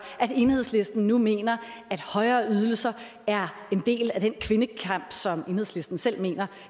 at enhedslisten nu mener at højere ydelser er en del af den kvindekamp som enhedslistens selv mener